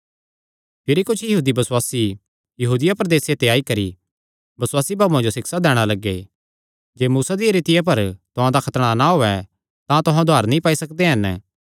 भिरी कुच्छ यहूदी बसुआसी यहूदिया प्रदेसे ते आई करी बसुआसी भाऊआं जो सिक्षा दैणा लग्गे जे मूसा दी रीतिया पर तुहां दा खतणा ना होयैं तां तुहां उद्धार नीं पाई सकदे हन